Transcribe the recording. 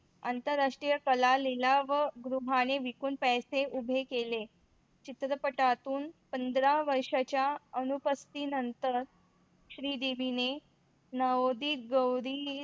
आंतर राष्ट्रीय कला लीला व गृह आणि विकून पैसे उभे केले चित्रपटातून पंधरा वर्षाच्या अन उपस्थिती नतर श्रीदेवीने धवनी ग्रोवधी